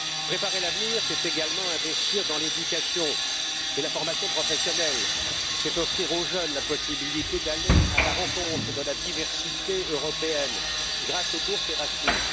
Préparer l'avenir, c'est également investir dans l'éducation et la formation professionnelle, c'est offrir aux jeunes la possibilité d'aller à la rencontre de la diversité européenne grâce aux bourses Erasmus.